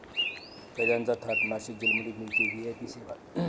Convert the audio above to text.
कैद्यांचा थाट, नाशिक जेलमध्ये मिळते व्हीआयपी सेवा